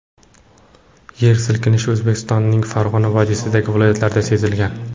Yer silkinishi O‘zbekistonning Farg‘ona vodiysidagi viloyatlarida sezilgan.